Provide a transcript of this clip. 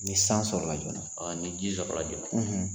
Ni san sɔrɔla joona ni ji sɔrɔla joona.